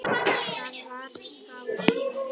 Það var þá svona.